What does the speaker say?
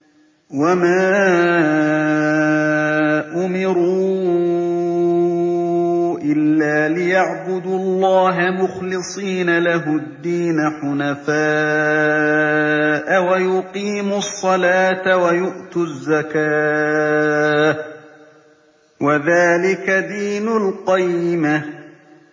وَمَا أُمِرُوا إِلَّا لِيَعْبُدُوا اللَّهَ مُخْلِصِينَ لَهُ الدِّينَ حُنَفَاءَ وَيُقِيمُوا الصَّلَاةَ وَيُؤْتُوا الزَّكَاةَ ۚ وَذَٰلِكَ دِينُ الْقَيِّمَةِ